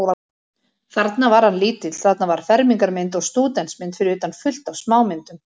Þarna var hann lítill, þarna var fermingarmynd og stúdentsmynd, fyrir utan fullt af smámyndum.